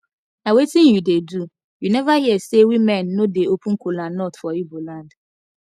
na wetin you dey do you never hear say women no dey open kola nut for igbo land